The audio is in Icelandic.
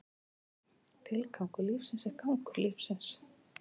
Tilgangur lífsins er gangur lífsins.